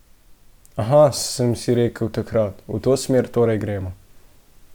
Aha, sem si rekel takrat, v to smer torej gremo.